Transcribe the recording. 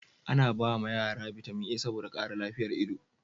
ana ba ma yara bitamin a saboda kara lafiyan ido